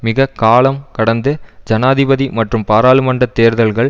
மிக காலம் கடந்து ஜனாதிபதி மற்றும் பாராளுமன்ற தேர்தல்கள்